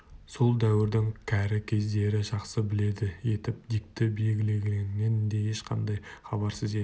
сол дәуірдің кәрі көздері жақсы біледі етіп дикті белгілегенінен де ешқандай хабарсыз еді